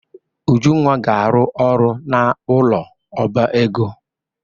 Ujunwa ga-aru oru n'ulo oba ego.